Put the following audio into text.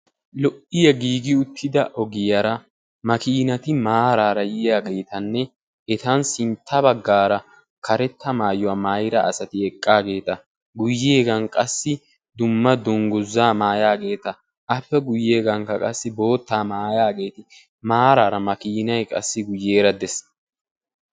Lo''iya giigi uttida ogiyaara makiinati maaraara yiyageetanne etan sintta baggaara karetta maayuwaa maayida asati eqqaageeta, guyyeegan qassi dumma dungguzaa maayaageeta, appe guyyeegankka qassi boottaa maayaageeti maaraara qassi makiinay guyyeera dees.